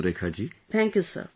Thank you surekha ji